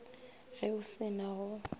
ge o se na go